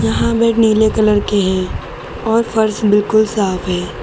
यहां बेड नीले कलर के हैं और फर्श बिल्कुल साफ है।